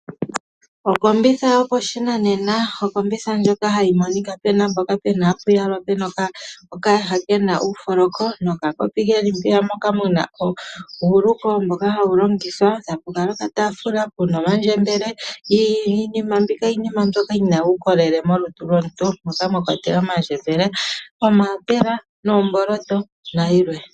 Okombitha yopashinanena ,okombitha ndjono hayi monika mpoka hapu yalwa okayaha kena uufoloko nokakopi keli po ,mpoka muna uuluko hawu longithwa nokataafula kena omandjembele iinima mbika iinima mbyoka yina uukolele molutu lwomuntu mpoka mwa kwatelwa omandjembele ,omaapela noomboloto nayilwe.